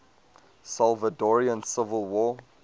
salvadoran civil war